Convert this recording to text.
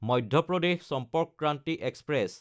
Madhya Pradesh Sampark Kranti express